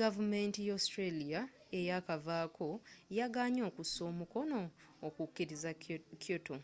gavumenti ya australia eyakavaako yagaanye okussa omukono okukiriza kyoto